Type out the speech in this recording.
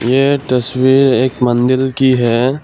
ये तस्वीर एक मंदिल की है।